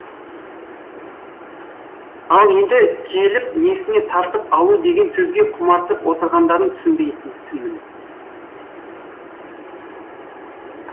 ал енді келіп несіне тартып алу деген сөзге құмартып отырғандарын түсінбейтінмін